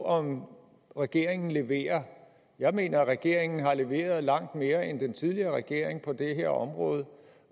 om regeringen leverer jeg mener at regeringen har leveret langt mere end den tidligere regering på det her område